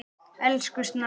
Elsku Snorri.